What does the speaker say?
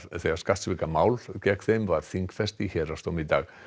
þegar skattsvikamál gegn þeim var þingfest í héraðsdómi í dag